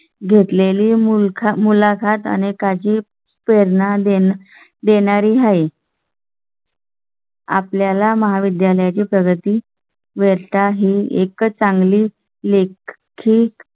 घेतले ली मुलाखत अनेकांची प्रेरणा देणारी देणारी आहे आपल्या ला महाविद्यालया ची प्रगती वेळा ही एक चांगली लेखकिक